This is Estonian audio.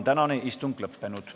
Tänane istung on lõppenud.